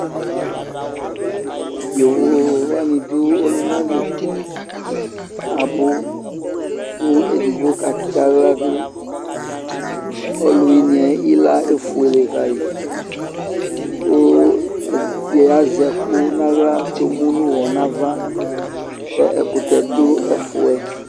Yovo wane do ɔluna li Abu ko edigbo ka tse ahla do Ɔluweneɛ ila efuele kai, ko ɛde azɛ ɛku nahla ko emu no uwɔ nava kɛ ɛkutpɛdo ɛfuɛ